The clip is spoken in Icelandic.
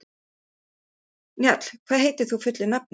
Njáll, hvað heitir þú fullu nafni?